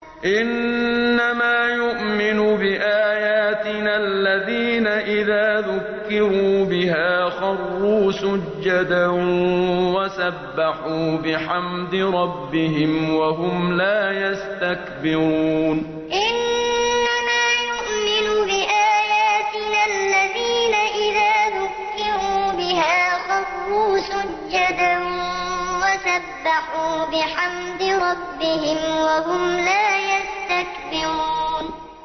إِنَّمَا يُؤْمِنُ بِآيَاتِنَا الَّذِينَ إِذَا ذُكِّرُوا بِهَا خَرُّوا سُجَّدًا وَسَبَّحُوا بِحَمْدِ رَبِّهِمْ وَهُمْ لَا يَسْتَكْبِرُونَ ۩ إِنَّمَا يُؤْمِنُ بِآيَاتِنَا الَّذِينَ إِذَا ذُكِّرُوا بِهَا خَرُّوا سُجَّدًا وَسَبَّحُوا بِحَمْدِ رَبِّهِمْ وَهُمْ لَا يَسْتَكْبِرُونَ ۩